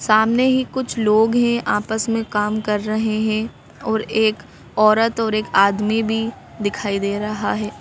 सामने ही कुछ लोग हैं आपस में काम कर रहे हैं और एक औरत और एक आदमी भी दिखाई दे रहा है।